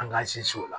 An k'an sinsin o la